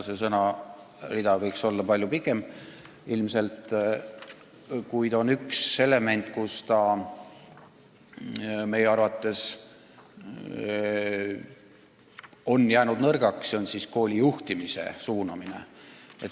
See sõnarida võiks ilmselt olla palju pikem, kuid on üks element, milles riik on meie arvates olnud nõrk, see on kooli juhtimise suunamine.